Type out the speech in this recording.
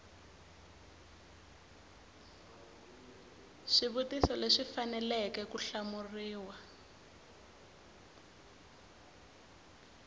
swivutiso leswi faneleke ku hlamuriwa